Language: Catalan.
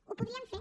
ho podrien fer